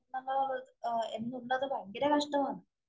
എന്നുള്ളത് ഭയങ്കര കഷ്ടമാണ്.